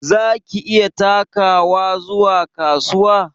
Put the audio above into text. Za ki iya takawa zuwa kasuwa?